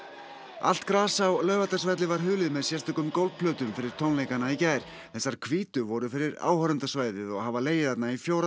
allt gras á Laugardalsvelli var hulið með sérstökum gólfplötum fyrir tónleikana í gær þessar hvítu voru fyrir áhorfendasvæðið og hafa legið þarna í fjóra